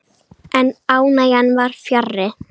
En ánægjan var fjarri.